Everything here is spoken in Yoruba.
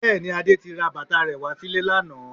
Bẹ́ẹ̀ni, Adé ti ra bàtà rẹ wá sílé lánàá